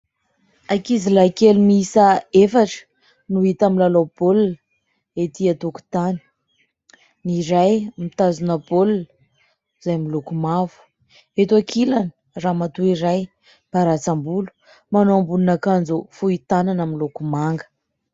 Ankizilahy kely miisa efatra no hita milalao baolina ety an-tokotany, ny iray mitazona baolina izay miloko mavo. Eto ankilany, ramatoa iray miparatsam-bolo manao ambonin'akanjo fohy tanana miloko manga.